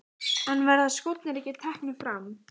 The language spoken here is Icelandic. En verða skórnir ekki teknir fram?